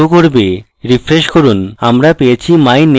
refresh করুন আমরা পেয়েছি my name is